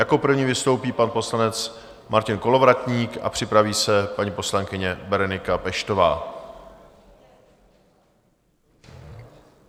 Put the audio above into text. Jako první vystoupí pan poslanec Martin Kolovratník a připraví se paní poslankyně Berenika Peštová.